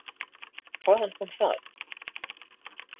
Hvaðan kom það?